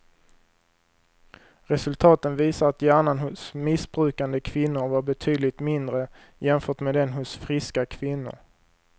Resultaten visar att hjärnan hos missbrukande kvinnor var betydligt mindre jämfört med den hos friska kvinnor.